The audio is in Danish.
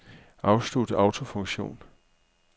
Afslut autofunktion.